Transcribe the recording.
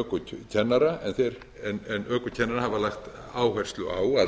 ökukennara en ökukennarar hafa lagt áherslu á